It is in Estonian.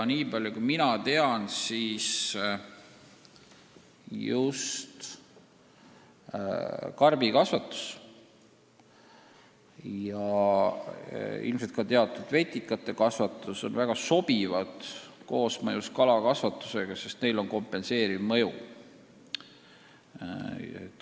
Nii palju kui mina tean, on karbikasvatus ja ilmselt ka teatud vetikate kasvatus väga sobivad koosmõjus kalakasvatusega, sest neil on kompenseeriv mõju.